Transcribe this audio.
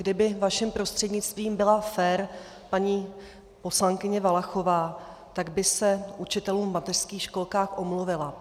Kdyby vaším prostřednictvím byla fér paní poslankyně Valachová, tak by se učitelům v mateřských školkách omluvila.